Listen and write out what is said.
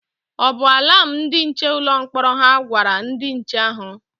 O bu alam ndị nche ụlọ mkpọrọ hà gwara ndị nche ahụ?